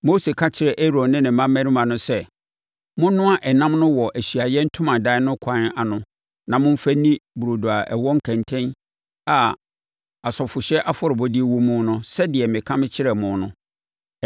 Mose ka kyerɛɛ Aaron ne ne mmammarima no sɛ, “Monnoa ɛnam no wɔ Ahyiaeɛ Ntomadan no kwan ano na momfa nni burodo a ɛwɔ kɛntɛn a asɔfohyɛ afɔrebɔdeɛ wɔ mu no sɛdeɛ meka kyerɛɛ mo no.